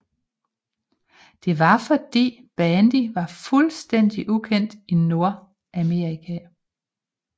Det var fordi bandy var fuldstændig ukendt i Nordamerika